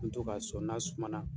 to k'a sɔn n'a suma na.